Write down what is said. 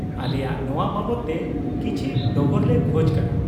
ᱟᱞᱮᱭᱟᱜ ᱱᱚᱶᱟ ᱵᱟᱵᱚᱫ ᱛᱮ ᱠᱤᱪ ᱷᱤ ᱰᱚᱜᱚᱨ ᱞᱮ ᱠᱷᱚᱡ ᱠᱟᱱᱟ ᱾